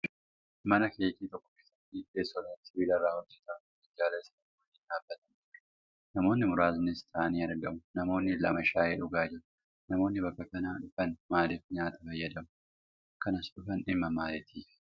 Mana keekii tokko keessatti teessooleen sibiilarraa hojjataman minjaala isaanii waliin dhaabbatanii jiru. Namoonni muraasnis taa'anii argamu. Namoonni lama shaayii dhugaa jiru. Namoonni bakka kana dhufanii maaliif nyaata fayyadamuu? Kan as dhufan dhimma maalitiifi?